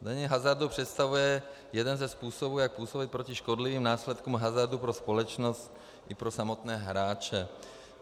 Zdanění hazardu představuje jeden ze způsobů, jak působit proti škodlivým následkům hazardu pro společnost i pro samotné hráče.